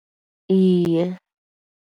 Iye.